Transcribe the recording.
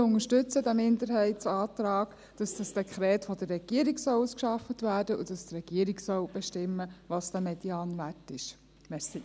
Wir unterstützen diesen Minderheitsantrag, wonach das Dekret von der Regierung ausgearbeitet werden und die Regierung den Medianwert bestimmen soll.